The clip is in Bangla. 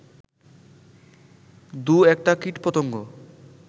দু-একটা কীটপতঙ্গ